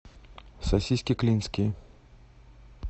сосиски клинские